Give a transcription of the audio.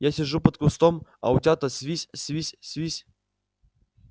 я сижу под кустом а утята свись свись свись